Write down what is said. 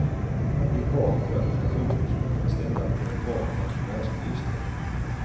Hon har de kvalifikationer som man kan ställa på en bra pensionärsminister.